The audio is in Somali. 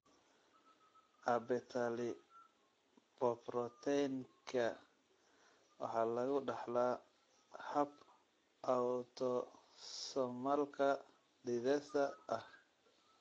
Abetalipoproteinika waxaa lagu dhaxlaa hab autosomalka dithesa ah.